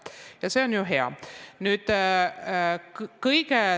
Ja see on ju hea.